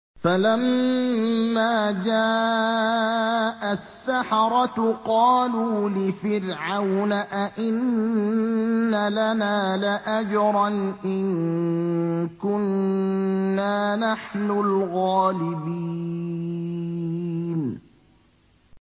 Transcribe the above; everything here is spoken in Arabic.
فَلَمَّا جَاءَ السَّحَرَةُ قَالُوا لِفِرْعَوْنَ أَئِنَّ لَنَا لَأَجْرًا إِن كُنَّا نَحْنُ الْغَالِبِينَ